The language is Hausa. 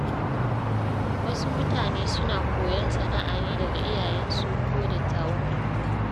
Wasu mutane suna koyon sana’a ne daga iyayensu ko dattawan unguwa.